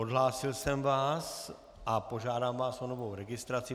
Odhlásil jsem vás a požádám vás o novou registraci.